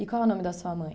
E qual é o nome da sua mãe?